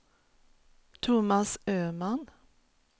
Thomas Öman